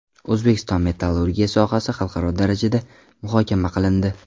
O‘zbekiston metallurgiyasi sohasi xalqaro darajada muhokama qilindi.